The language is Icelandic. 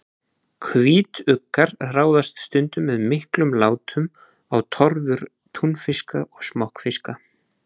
Hvítuggar ráðast stundum með miklum látum á torfur túnfiska og smokkfiska.